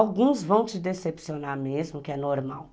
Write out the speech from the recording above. Alguns vão te decepcionar mesmo, que é normal.